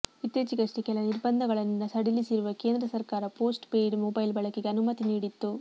ಇತ್ತೀಚೆಗಷ್ಟೆಕೆಲ ನಿರ್ಬಂಧ ಗಳನ್ನು ಸಡಿಲಿಸಿರುವ ಕೇಂದ್ರ ಸರ್ಕಾರ ಪೋಸ್ಟ್ ಪೇಯ್ಡ್ ಮೊಬೈಲ್ ಬಳಕೆಗೆ ಅನುಮತಿ ನೀಡಿತ್ತು